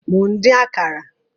Mò ń dín Àkàrà